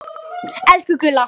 Elsku Gulla.